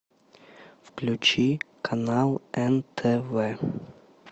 включи канал нтв